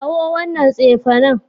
Kawo wannan tsefe nan